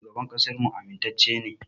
Shugaban ƙasarmu amintacce ne.